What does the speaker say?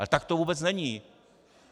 Ale tak to vůbec není.